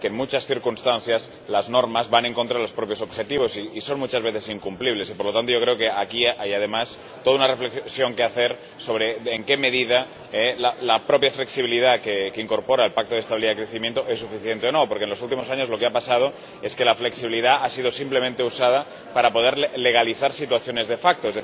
el problema es que, en muchas circunstancias, las normas van en contra de los propios objetivos y son muchas veces incumplibles. Por lo tanto, yo creo que aquí hay, además, toda una reflexión que hacer sobre en qué medida la propia flexibilidad que incorpora el Pacto de Estabilidad y Crecimiento es suficiente o no, porque, en los últimos años, lo que ha pasado es que la flexibilidad ha sido simplemente usada para poder legalizar situaciones de facto